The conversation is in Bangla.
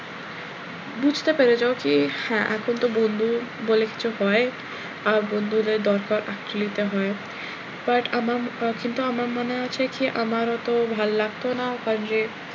বুঝতে পেরে যাও কি হ্যাঁ এখন তো বন্ধু বলে কিছু হয় আর বন্ধুদের দরকার actually তো হয় but আমার কিন্তু আমার মনে আছে কি আমার অতো ভাল লাগতো না কারন যে,